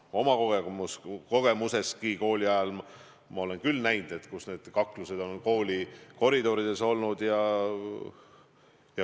Oma kogemustestki tean, kooliajal ma olen küll näinud, kuidas koridorides on kaklused käinud.